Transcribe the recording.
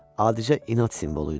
Adicə inad simvolu idi.